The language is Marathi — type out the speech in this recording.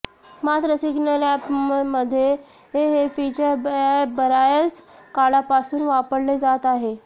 मात्र सिग्नल अॅपमध्ये हे फिचर बर्याच काळापासून वापरले जात आहे